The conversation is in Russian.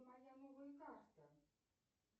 моя новая карта